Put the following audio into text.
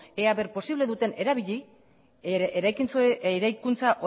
ea posible duten erabili eraikuntza